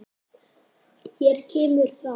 Hér kemur það.